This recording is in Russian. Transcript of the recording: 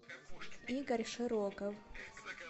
игорь широков